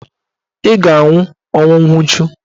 Ị ga-anwụ ọnwụ nwuchu.